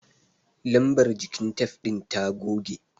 Lambar jikin tef ɗin ta goge.